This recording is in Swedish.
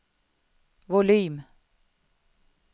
volym